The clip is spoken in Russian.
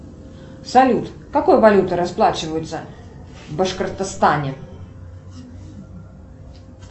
салют какой валютой расплачиваются в башкортостане